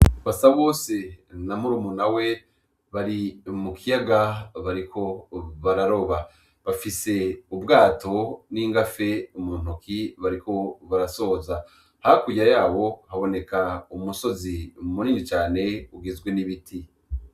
Basabose na murumuna we bari mu kiyaga bariko bararoba bafise ubwato n'ingafe mu ntoke bariko barasoza, hakurya yabo haboneka umusozi munini cane ugizwe n'ibiti.